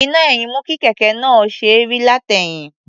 Iná-ẹ̀yìn mú kí kẹ̀kẹ́ náà ó ṣe é rí látẹ̀yìn.